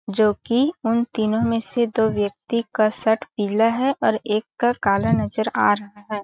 जोकि उन तीनो में से दो व्यक्ति का शर्ट पीला है और एक का काला नजर आ रहा है।